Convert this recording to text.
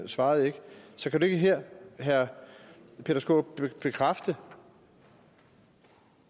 svarede ikke så kan du ikke her herre peter skaarup bekræfte